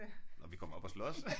Om vi kommer op at slås?